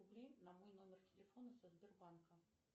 рублей на мой номер телефона со сбербанка